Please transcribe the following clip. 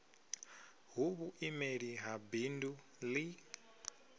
hu vhuimeli ha bindu ḽi